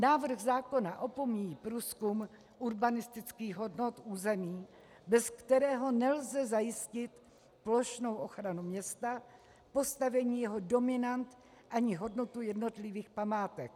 Návrh zákona opomíjí průzkum urbanistických hodnot území, bez kterého nelze zajistit plošnou ochranu města, postavení jeho dominant ani hodnotu jednotlivých památek.